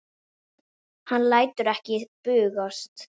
Hann lætur ekki bugast.